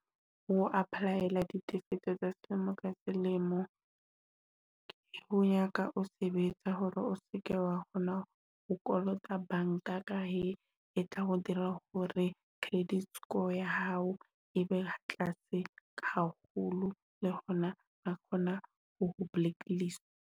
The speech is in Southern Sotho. Ho apply-ala ditekanyetso tsa selemo ka selemo. Nyaka o sebetsa hore o seke wa bona, o kolota banka. Ka he, e tla go dira hore credit score ya hao ebe ha tlase haholo, le hona re kgona ho blacklist.